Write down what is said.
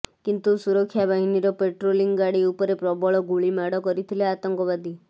କିନ୍ତୁ ସୁରକ୍ଷାବାହିନୀର ପାଟ୍ରୋଲିଂ ଗାଡ଼ି ଉପରେ ପ୍ରବଳ ଗୁଳିମାଡ଼ କରିଥିଲେ ଆତଙ୍କବାଦୀ